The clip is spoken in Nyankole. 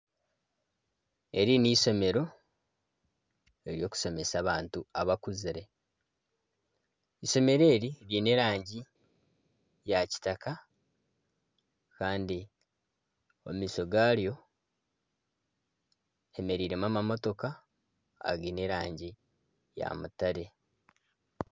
Eri ni eishomero ery'okushomesa abantu abakuzire eishomero eri ryine erangi ya kitaka kandi omu maisho garyo hemereiremu amamotoka agiine erangi ya mutare.